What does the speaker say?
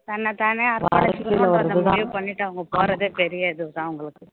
தன்னைத்தானே அர்ப்பணிச்சுக்கனுன்றத முடிவு பண்ணிட்டு அவங்க போறதே பெரிய இது தான் அவங்களுக்கு